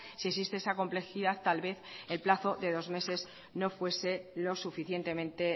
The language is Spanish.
si existe esa complejidad tal vez el plazo de dos meses no fuese lo suficientemente